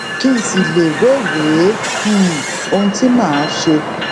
kí n sì lè wéwèé um ohun tí màá ṣe